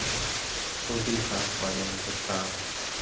खोटी छाप पाडण्याचे टाळा